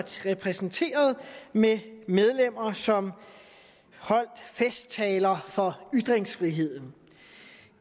repræsenteret med medlemmer som holdt festtaler for ytringsfriheden